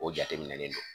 O jateminɛlen do